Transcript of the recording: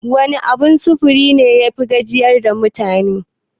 Wane abun sufuri ne yafi gajiyar da mutane?